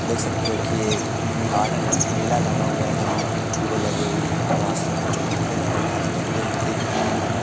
देख सकते हो कि ये एक गार्डन है मेला लगा हुआ है जहां झूले लगे हुए हैं बहोत से बच्चों के झूले लगे हुए हैं आजू बाजू देखो कि एक टावर लगा--